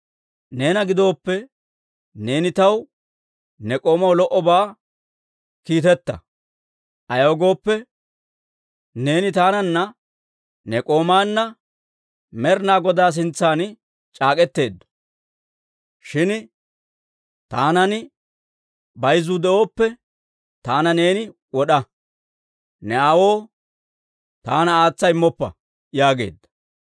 Neena gidooppe, neeni taw ne k'oomaw lo"obaa kiiteta; ayaw gooppe, neeni taananna ne k'oomaanna Med'inaa Godaa sintsan c'aak'etaadda. Shin taanan bayzuu de'oppe, taana neeni wod'a! Ne aawoo taana aatsa immoppa» yaageedda.